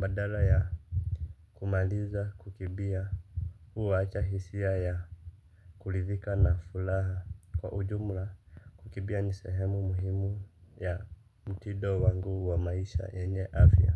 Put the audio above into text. badala ya kumaliza kukimbia huwacha hisia ya kuridhika na furaha. Kwa ujumla kukibia ni sehemu muhimu ya mtido wangu wa maisha yenye afya.